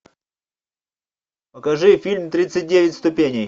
покажи фильм тридцать девять ступеней